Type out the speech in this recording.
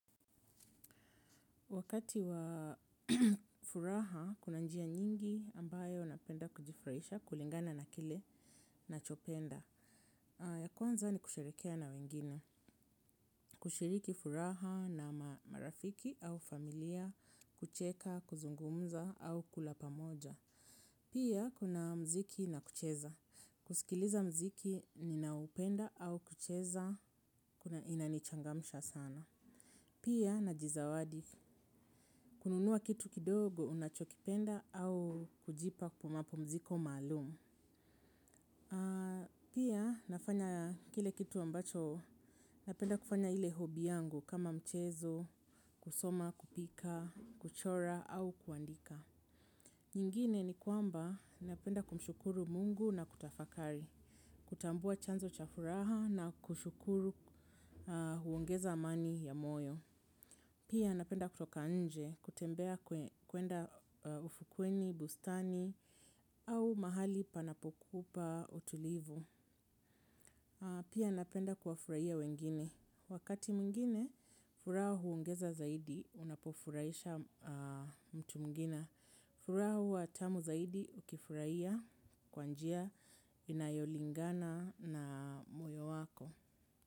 Wakati wa furaha, kuna njia nyingi ambayo napenda kujifurahisha, kulingana na kile, nachopenda. Ya kwanza ni kushirikiana na wengine. Kushiriki furaha na marafiki au familia, kucheka, kuzungumza au kulapa moja. Pia, kuna muziki na kucheza. Kusikiliza muziki ninaupenda au kucheza, kuna inanichangamsha sana. Pia, najizawadi. Kununua kitu kidogo, unachokipenda au kujipa mapumziko maalum. Pia, nafanya kile kitu ambacho, napenda kufanya ile hobby yangu kama mchezo, kusoma, kupika, kuchora au kuandika. Nyingine ni kwamba, napenda kumshukuru mungu na kutafakari, kutambua chanzo cha furaha na kushukuru huongeza amani ya moyo. Pia napenda kutoka nje kutembea kuenda ufukweni, bustani au mahali panapokupa utulivu. Pia napenda kuwafurahia wengine. Wakati mwingine, furaha huongeza zaidi unapofurahisha mtu mwingine. Furaha huwa tamu zaidi ukifurahia kwa njia inayolingana na moyo wako.